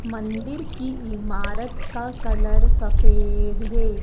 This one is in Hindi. मंदिर की इमारत का कलर सफेद है।